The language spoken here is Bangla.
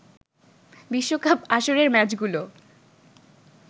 বিশ্বকাপ আসরের ম্যাচগুলো